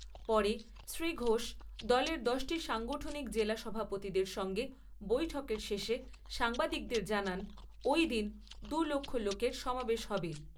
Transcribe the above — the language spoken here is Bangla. পরে, শ্রী ঘোষ দলের দশটি সাংগঠনিক জেলা সভাপতিদের সঙ্গে বৈঠকের শেষে সাংবাদিকদের জানান, ঐদিন দু'লক্ষ লোকের সমাবেশ হবে।